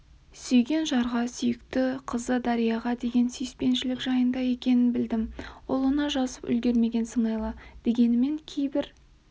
сүйген жарға сүйікті қызы дарияға деген сүйіспеншілік жайында екенін білдім ұлына жазып үлгермеген сыңайлы дегенмен кейбір